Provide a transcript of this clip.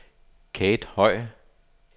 Kate Høj